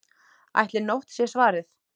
Ætli NÓTT sé svarið?